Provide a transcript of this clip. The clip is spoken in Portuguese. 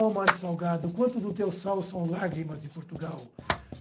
Ó mar salgado, quanto do teu sal são lágrimas de Portugal.